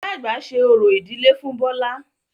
Ìyá àgbà ṣe orò ìdílé fún Bọlá